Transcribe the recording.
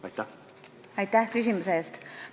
Aitäh küsimuse eest!